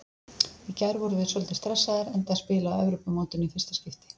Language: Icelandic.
Í gær vorum við svolítið stressaðar enda að spila á Evrópumótinu í fyrsta skipti.